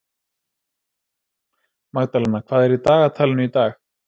Magdalena, hvað er í dagatalinu í dag?